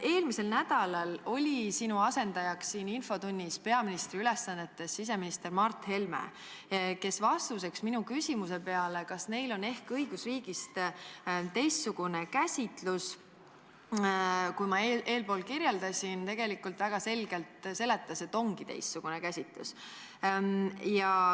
Eelmisel nädalal oli sinu asendajaks siin infotunnis peaministri ülesandeid täitev siseminister Mart Helme, kes vastuseks minu küsimusele, kas neil on ehk õigusriigist teistsugune käsitus, kui ma eespool kirjeldasin, seletas väga selgelt, et ongi teistsugune käsitus.